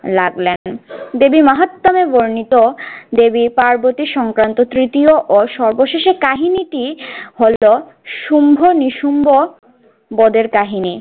লাগলেন। দেবী মাহাত্যাম এ বর্ণিত দেবী পার্বতী সংক্রান্ত তৃতীয় ও সর্বশেষে কাহিনীটি হল শুম্ভ-নিশুম্ভ বদের কাহিনী।